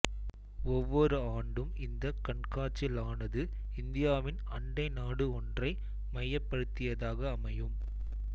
ஒவ்வொரு ஆண்டும் இந்த கண்காட்சிளானது இந்தியாவின் அண்டை நாடு ஒன்றை மையப்படுத்தியதாக அமையும்